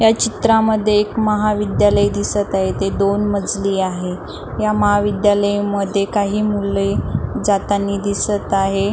या चित्रामध्ये आपल्याला महाविद्यालय दिसत आहे ते दोन मजली आहे. या महाविद्यालयमध्ये काही मुले जाताना दिसत आहे.